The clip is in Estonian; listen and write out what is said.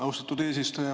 Austatud eesistuja!